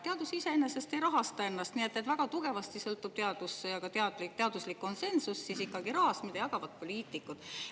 Teadus ei rahasta iseennast, nii et teadus ja teaduslik konsensus väga tugevasti sõltuvad ikkagi rahast, mida jagavad poliitikud.